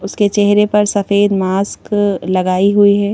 उसके चेहरे पर सफेद मास्क लगाई हुईं हैं।